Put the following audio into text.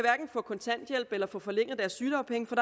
få kontanthjælp eller forlænget deres sygedagpenge for